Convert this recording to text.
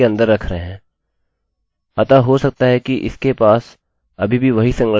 अतः हो सकता है कि इसके पास अभी भी वही संरचना हो लेकिन हम इसे अलग तरीके से निर्धारित कर रहे हैं